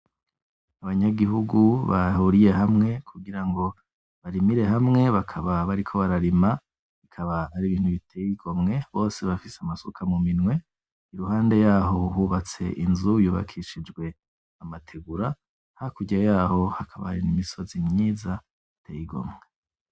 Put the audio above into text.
Abanyagihugu bahuriye hamwe kugira ngo barimire hamwe bakaba bariko bararima, bikaba ari ibintu biteye igomwe bose bafise amasuka muminwe, iruhande yaho hubatse inzu yubakishijwe amategura, hakurya yaho hakaba hari n'imisozi myiza iteye igomwe.